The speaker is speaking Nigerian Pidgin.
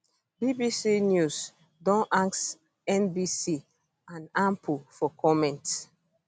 bbc news bbc news don ask nbc and ample for comment